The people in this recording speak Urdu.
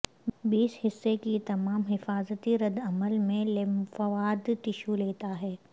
بیس حصہ کی تمام حفاظتی رد عمل میں لیمفواد ٹشو لیتا ہے